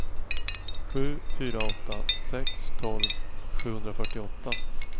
sju fyra åtta sex tolv sjuhundrafyrtioåtta